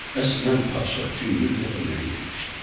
Bəs mən padişah üçün gül gətirməyə getmişdim.